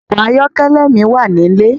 Òkò àyòkèlè mi wá nilé